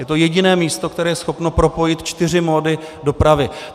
Je to jediné místo, které je schopno propojit čtyři mody dopravy.